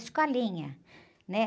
Escolinha, né?